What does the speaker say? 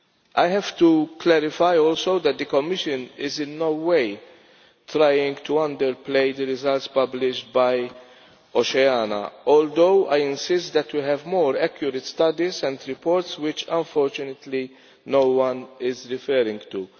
I have to clarify also that the Commission is in no way trying to underplay the results published by Oceana, although I insist that we have more accurate studies and reports which, unfortunately, no one is referring to.